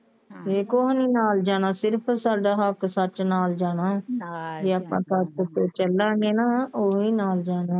ਹਾਂ ਕੁਛ ਨਹੀਂ ਨਾਲ ਜਾਣਾ ਸਿਰਫ ਸਾਡਾ ਹੱਕ ਸੱਚ ਨਾਲ ਜਾਣਾ ਹਾਂ ਆਪਾਂ ਜਿੱਦਾਂ ਚੱਲਾਂਗੇ ਨਾ ਓਹੀ ਨਾਲ ਜਾਣਾ।